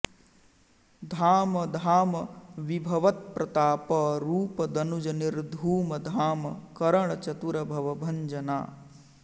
धाम धाम विभवत्प्रताप रूप दनुज निर्धूम धाम करण चतुर भवभञ्जना